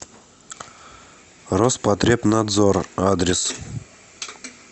роспотребнадзор адрес